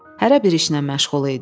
Hərə bir işlə məşğul idi.